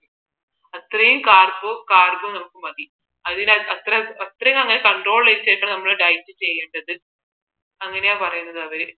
ആത്രേയും carbon carbo നമുക്ക് മതി അതിന് ആത്രേയും ആത്രേയും നമ്മൾ ൻ control ചെയ്ത് വേണം നമ്മൾ diet ചെയ്യേണ്ടത് അങ്ങനെയാ പറയുന്നത് അവർ